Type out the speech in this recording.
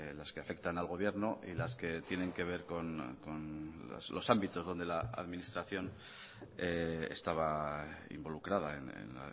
las que afectan al gobierno y las que tienen que ver con los ámbitos donde la administración estaba involucrada en